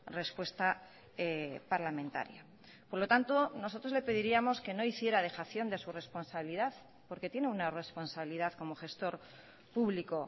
respuesta parlamentaria por lo tanto nosotros le pediríamos que no hiciera dejación de su responsabilidad porque tiene una responsabilidad como gestor público